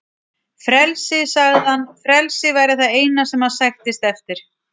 Frelsi, sagði hann, frelsi væri það eina sem hann sæktist eftir.